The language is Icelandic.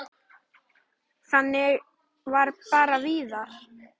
Þannig var bara Viðar.